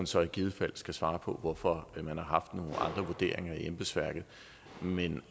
så i givet fald svare på hvorfor man har haft nogle andre vurderinger i embedsværket men